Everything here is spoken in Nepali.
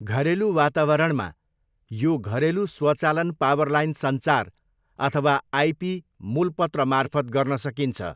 घरेलु वातावरणमा, यो घरेलु स्वचालन पावरलाइन सञ्चार अथवा आइपी मुलपत्रमार्फत गर्न सकिन्छ।